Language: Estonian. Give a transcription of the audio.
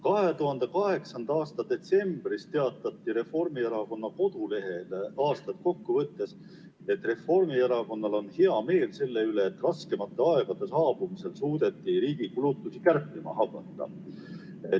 2008. aasta detsembris teatati Reformierakonna kodulehel aastat kokku võttes, et Reformierakonnal on hea meel selle üle, et raskemate aegade saabumisel suudeti riigi kulutusi kärpima hakata.